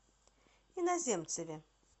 иноземцеве